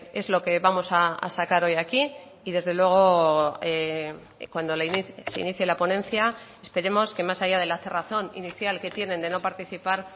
es lo que vamos a sacar hoy aquí y desde luego cuando se inicie la ponencia esperemos que más allá de la cerrazón inicial que tienen de no participar